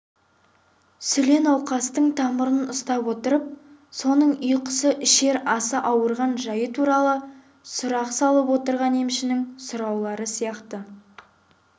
сүле науқастың тамырын ұстап отырып соның ұйқысы ішер асы ауырған жайы туралы сұрақ салып отырған емшінің сұраулары сияқты